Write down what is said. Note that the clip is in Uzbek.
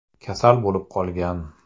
kasal bo‘lib qolgan.